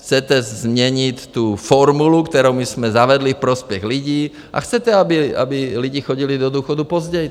Chcete změnit tu formuli, kterou my jsme zavedli v prospěch lidí, a chcete, aby lidi chodili do důchodu později.